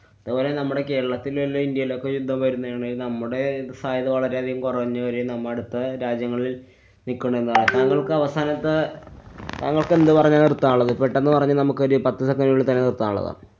അതുപോലെ നമ്മുടെ കേരളത്തിലെ അല്ല ഇന്ത്യയിലൊക്കെ യുദ്ധം വരുന്നേ യാണെ നമ്മുടെ ഫായ്ദ് വളരെ കൊറഞ്ഞു വരുകയും നമ്മ അടുത്ത രാജ്യങ്ങളില്‍ നിക്കണെ താങ്കള്‍ക്കവസാനത്തെ താങ്കള്‍ക്കെന്തു പറഞ്ഞാ നിര്‍ത്താനുള്ളത്? പെട്ടന്ന് പറഞ്ഞൊരു നമുക്കൊരു പത്തു second നുള്ളില്‍ തന്നെ നിര്‍ത്താനുള്ളതാണ്.